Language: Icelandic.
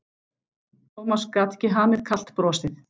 Thomas gat ekki hamið kalt brosið.